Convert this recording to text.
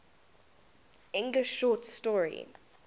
english short story